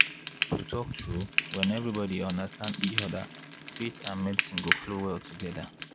to talk true when everybody respect each other faith and medicine go flow well together.